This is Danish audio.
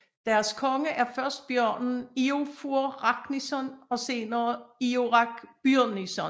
Deres konge er først bjørnen Iofur Raknison og senere Iorek Byrnison